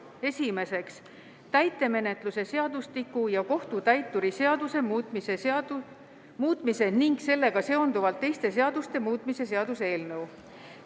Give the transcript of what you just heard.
Esimeseks, täitemenetluse seadustiku ja kohtutäituri seaduse muutmise ning sellega seonduvalt teiste seaduste muutmise seaduse eelnõu.